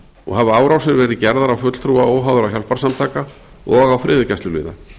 og hafa árásir verið gerðar á fulltrúa óháðra hjálparsamtaka og á friðargæsluliða